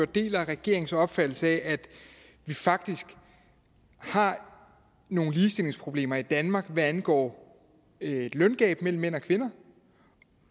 deler regeringens opfattelse af at vi faktisk har nogle ligestillingsproblemer i danmark hvad angår et løngab mellem mænd og kvinder